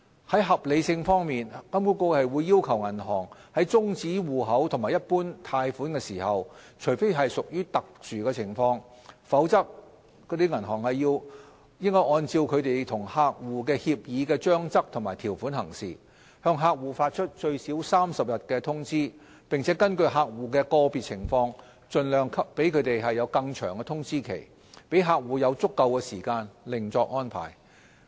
在合理性方面，金管局要求銀行在終止戶口及一般貸款時，除非屬特殊情況，否則應按照銀行與客戶協議的章則及條款行事，向客戶發出最少30天的通知，並根據客戶的個別情況盡量給予更長的通知期，讓客戶有足夠時間另作安排。